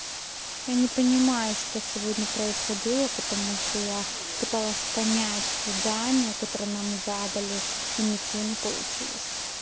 я не понимаю что сегодня происходило потому что я пыталась понять задание которое нам задали и ничего не получилось